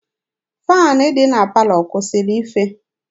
Faanị dị na palọ kwụsịrị ife.